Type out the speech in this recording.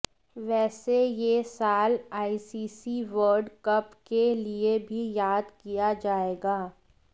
वैसे ये साल आईसीसी वर्ल्ड कप के लिए भी याद किया जाएगा